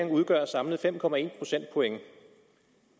udgør samlet fem procentpoint